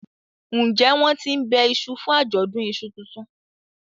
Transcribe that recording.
njé wón tín ńbe iṣu fún Ajọdun iṣu títún?